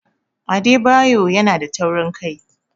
Adebayor yanada taurin kai.